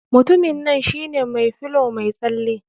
Mutumin nan shine mai filow mai tsale.